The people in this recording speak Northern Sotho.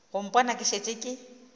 go mpona ke šetše ke